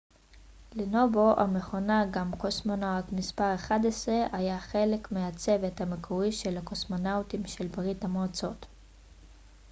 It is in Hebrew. לנובו המכונה גם קוסמונאוט מס 11 היה חלק מהצוות המקורי של הקוסמונאוטים של ברית המועצות